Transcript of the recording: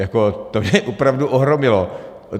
Jako to mě opravdu ohromilo.